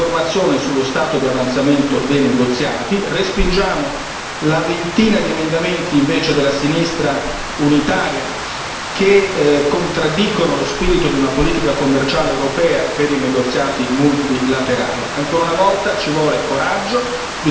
Appoggiamo anche la richiesta di ottenere piena informazione sullo stato di avanzamento dei negoziati, respingiamo invece la ventina di emendamenti della sinistra unitaria che contraddicono lo spirito di una politica commerciale europea per i negoziati multilaterali.